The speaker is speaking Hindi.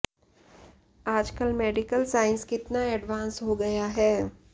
आजकल मेडिकल साइंस कितना एडवांस हो गया है